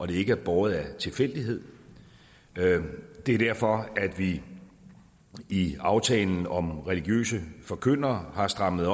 det ikke er båret af tilfældighed det er derfor at vi i aftalen om religiøse forkyndere har strammet